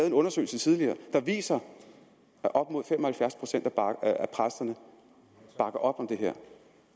en undersøgelse tidligere der viser at op mod fem og halvfjerds procent af præsterne bakker op om det her